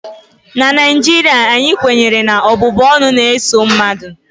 na Naijiria anyị kwenyere na ọbụbụ ọnụ na-eso mmadụ